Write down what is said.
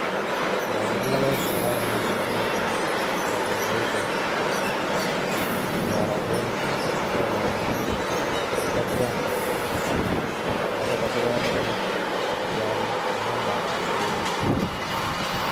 Indokeer logoek chekororonen chekoruryoo kouni aboiboitu, ndaroo kouni alongu akosee takiam ak akase takikol akine, ndaroo inakol akose takialda ane aldoi chon